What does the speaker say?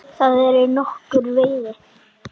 Þar er nokkur veiði.